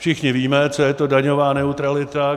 Všichni víme, co je to daňová neutralita.